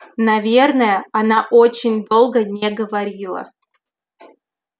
наверное она очень долго не говорила